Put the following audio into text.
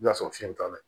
I bi na sɔrɔ fiɲɛ t'a la